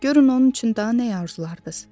Görün onun üçün daha nəyə arzularız?